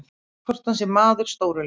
Hvort hann sé maður stóru leikjanna?